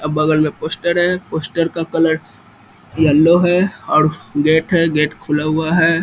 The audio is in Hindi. और बगल में पोस्टर है पोस्टर का कलर येलो है और गेट हैं गेट खुला हुआ है।